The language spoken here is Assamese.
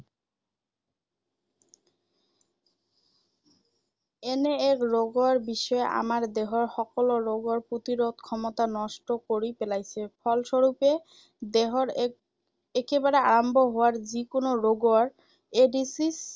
এনে এক ৰোগৰ বিষয়ে আমাৰ দেহৰ সকলো ৰোগৰ প্ৰতিৰোধ ক্ষমতা নষ্ট কৰি পেলায়। ফলস্বৰূপে দেহত এক, একেবাৰে আৰম্ভ হোৱা যিকোনো ৰোগৰ এইড্‌ছৰ